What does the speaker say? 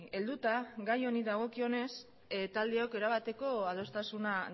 helduta gai honi dagokionez taldeok erabateko adostasuna